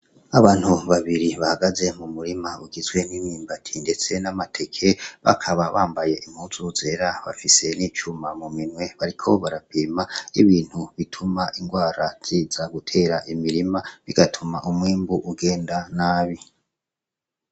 Abantu babiri bahagaze mu murima ugizwe n' imyumbati ndetse n' amateke bakaba bambaye impuzu zera bafise n' icuma muminwe bariko barapima ibintu bituma ingwara ziza gutera imirima bigatuma umwimbu ugenda nabi.